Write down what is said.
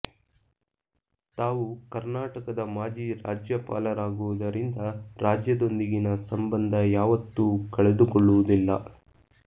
ತಾವು ಕರ್ನಾಟಕದ ಮಾಜಿ ರಾಜ್ಯಪಾಲರಾಗುವುದರಿಂದ ರಾಜ್ಯದೊಂದಿಗಿನ ಸಂಬಂಧ ಯಾವತ್ತೂ ಕಳೆದುಕೊಳ್ಳುವುದಿಲ್ಲ